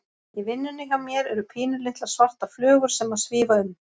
Í vinnunni hjá mér eru pínulitlar, svartar flugur sem að svífa um.